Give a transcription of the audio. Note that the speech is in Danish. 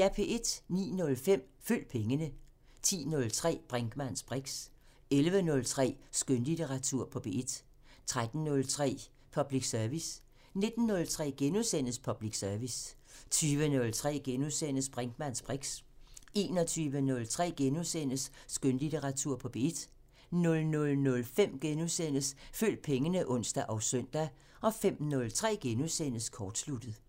09:05: Følg pengene 10:03: Brinkmanns briks 11:03: Skønlitteratur på P1 13:03: Public Service 19:03: Public Service * 20:03: Brinkmanns briks * 21:03: Skønlitteratur på P1 * 00:05: Følg pengene *(ons og søn) 05:03: Kortsluttet *